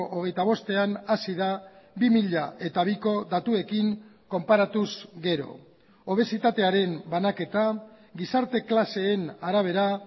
hogeita bostean hazi da bi mila biko datuekin konparatuz gero obesitatearen banaketa gizarte klaseen arabera